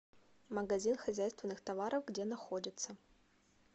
магазин хозяйственных товаров где находится